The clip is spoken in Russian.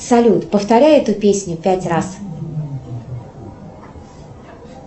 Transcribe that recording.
салют повторяй эту песню пять раз